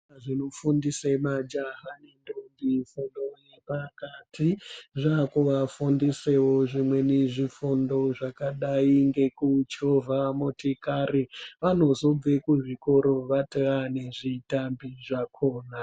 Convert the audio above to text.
Zvínofundise majaha nendombi fundo yepakati zvakuvafundisawo zvimweni zvifundo zvakadai nekuchovhe motokari vanozobve kuzvikora vatova nezvitambi zvakhona.